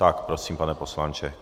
Tak prosím, pane poslanče.